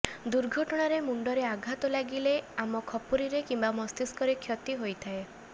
ଦୁର୍ଘଟଣାରେ ମୁଣ୍ଡରେ ଆଘାତ ଲାଗିଲେ ଆମ ଖପୁରିରେ କିମ୍ବା ମସ୍ତିଷ୍କରେ କ୍ଷତି ହୋଇଥାଏ